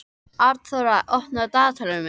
Arnþóra, opnaðu dagatalið mitt.